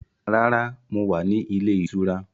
Rárá, mo wá ní ilé ìtura.